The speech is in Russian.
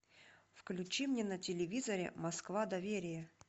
включи мне на телевизоре москва доверие